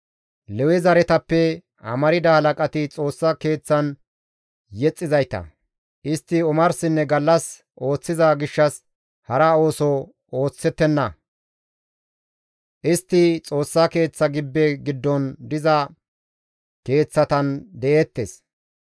Lewe zaretappe amarda halaqati Xoossa Keeththan yexxizayta; istti omarsinne gallas ooththiza gishshas hara ooso oosettenna; istti Xoossa Keeththa gibbe giddon diza keeththatan de7eettes.